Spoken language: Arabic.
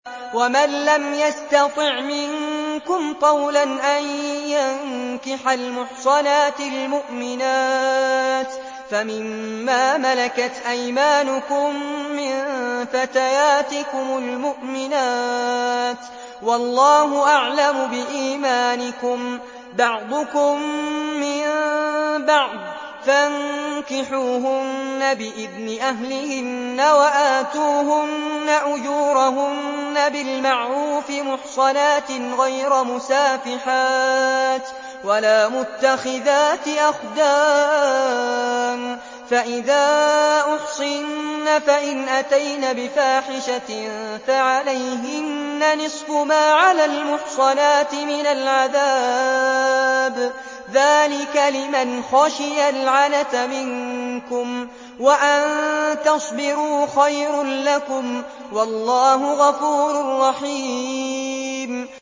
وَمَن لَّمْ يَسْتَطِعْ مِنكُمْ طَوْلًا أَن يَنكِحَ الْمُحْصَنَاتِ الْمُؤْمِنَاتِ فَمِن مَّا مَلَكَتْ أَيْمَانُكُم مِّن فَتَيَاتِكُمُ الْمُؤْمِنَاتِ ۚ وَاللَّهُ أَعْلَمُ بِإِيمَانِكُم ۚ بَعْضُكُم مِّن بَعْضٍ ۚ فَانكِحُوهُنَّ بِإِذْنِ أَهْلِهِنَّ وَآتُوهُنَّ أُجُورَهُنَّ بِالْمَعْرُوفِ مُحْصَنَاتٍ غَيْرَ مُسَافِحَاتٍ وَلَا مُتَّخِذَاتِ أَخْدَانٍ ۚ فَإِذَا أُحْصِنَّ فَإِنْ أَتَيْنَ بِفَاحِشَةٍ فَعَلَيْهِنَّ نِصْفُ مَا عَلَى الْمُحْصَنَاتِ مِنَ الْعَذَابِ ۚ ذَٰلِكَ لِمَنْ خَشِيَ الْعَنَتَ مِنكُمْ ۚ وَأَن تَصْبِرُوا خَيْرٌ لَّكُمْ ۗ وَاللَّهُ غَفُورٌ رَّحِيمٌ